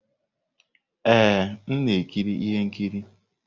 Ee, m na-ekiri ihe nkiri.